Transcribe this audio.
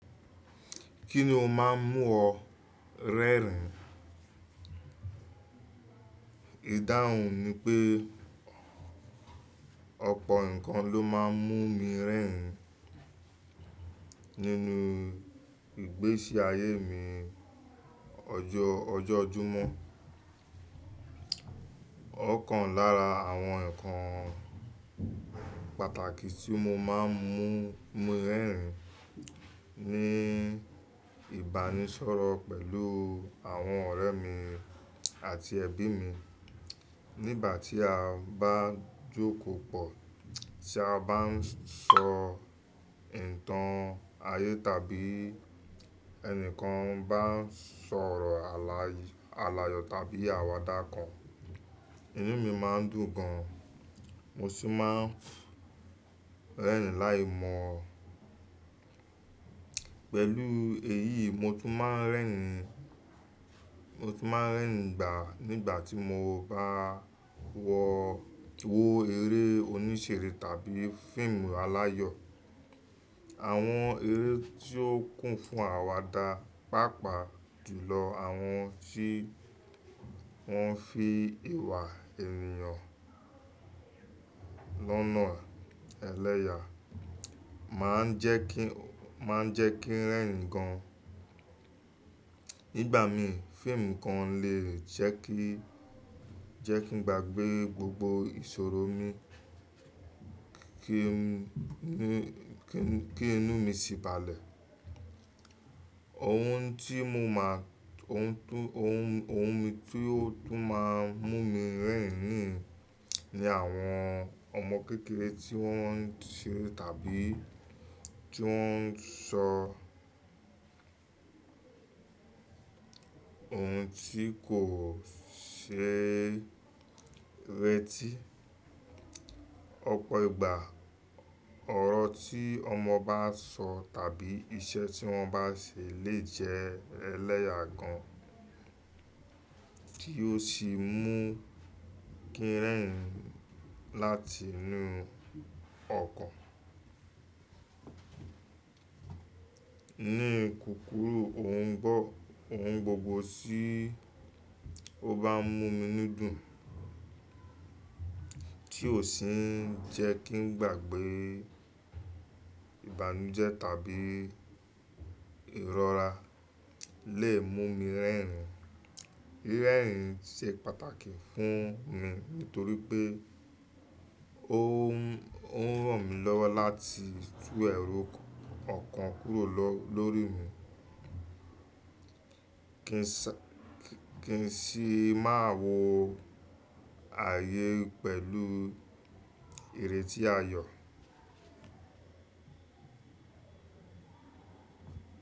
Ki ni o ń ma mu o rẹ́rìn? Ìdáhùn mi pe, ọ̀pọ̀ ǹkan lo ma ń mu mi rẹ́rìn nínú ìgbésí ayé mi ojojumo. Ọ̀kan lára àwọn nǹkan pàtàkì tí ó máa ń mú mi rẹ́rìn ni ìbánisọ̀rọ̀ pẹ̀lú àwọn ọ̀rẹ́ mi àti ẹbí mi. Nígbà tí a bá jókòó pọ̀, tí a bá sọ ìtàn ayé tàbí ẹnìkan bá sọ ọ̀rọ̀ aláyọ̀ tàbí àwàdà kan, inú mi máa dùn gan an. Mo sì máa ń rẹ́rìn láìmọ̀ pẹ̀lú èyí, mo tún máa ń rẹ́rìn, mo tún máa ń rẹ́rìn gbà nígbà tí mo bá wo eré oníṣere tàbí fíìmù aláyọ̀. Àwọn eré tí ó kún fún àwàdà, pàápàá jùlọ àwọn tí wọ́n fi ìwà ènìyàn lọ́nà ẹlẹ́yà máa ń jẹ́ kí, máa ń jẹ́ kí ń rẹ́rìn gan an. Nígbà mìí, fíìmù kan lè jẹ́ kí, jẹ́ kí n gbàgbé gbogbo ìṣòro mi, kí inú mi sì balẹ̀. Ohun tí mo máa, ohun tó, ohun, ohun mi tí ó tún máa ń mú mi rẹ́rìn nìyẹn, ni àwọn ọmọ kékeré tí wọ́n ń ṣere àbí tí wóń sọ ohun tí kò ṣe rẹ́tì. Ọ̀pọ̀ ìgbà, ọ̀rọ̀ ti ọmọ baso tàbí iṣẹ́ ti wọn ba se le je ẹlẹ́yà gan an tí ó sì mú kí ń rẹ́rìn láti inú ọkàn. Ní kùkúrù, ohun gbogbo tí ó bá ń mú mi inú dùn tí ò sì ń jẹ́ kí n gbàgbé ìbànújẹ́ tàbí ìrọra lè mú mi rẹ́rìn. Rírẹ́rìn ṣe pàtàkì fún mi nítorí pé ó ń, ó ń ràn mí lọ́wọ́ láti tú ẹ̀rù ọ̀kan kúrò lọ́, lórí mi kí n sì má wò ayé pẹ̀lú ìrètí ayọ̀.